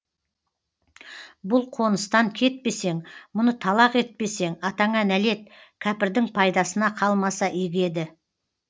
бұл қоныстан кетпесең мұны талақ етпесең атаңа нәлет кәпірдің пайдасына қалмаса игі еді